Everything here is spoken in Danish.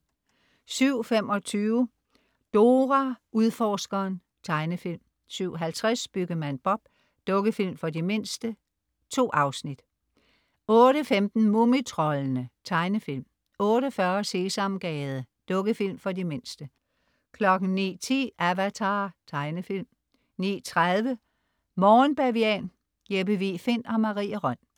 07.25 Dora Udforskeren. Tegnefilm 07.50 Byggemand Bob. Dukkefilm for de mindste. 2 afsnit 08.15 Mumitroldene. Tegnefilm 08.40 Sesamgade. Dukkefilm for de mindste 09.10 Avatar. Tegnefilm 09.30 Morgen Bavian. Jeppe Vig Find og Marie Rønn